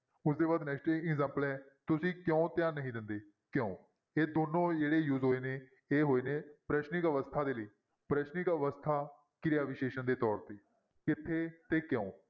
ਉਸਦੇ ਬਾਅਦ next examples ਹੈ ਤੁਸੀਂ ਕਿਉਂ ਧਿਆਨ ਨਹੀਂ ਦਿੰਦੇ? ਕਿਉਂ ਇਹ ਦੋਨੋਂ ਜਿਹੜੇ use ਹੋਏ ਨੇ, ਇਹ ਹੋਏ ਨੇ ਪ੍ਰਸ਼ਨਿਕ ਅਵਸਥਾ ਦੇ ਲਈ, ਪ੍ਰਸ਼ਨਿਕ ਅਵਸਥਾ ਕਿਰਿਆ ਵਿਸ਼ੇਸ਼ਣ ਦੇ ਤੌਰ ਤੇ ਕਿੱਥੇ ਤੇ ਕਿਉਂ,